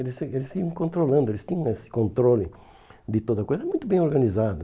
Eles iam eles iam controlando, eles tinham esse controle de toda coisa, muito bem organizado.